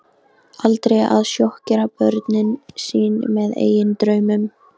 Aldrei að sjokkera börn sín með eigin draumum.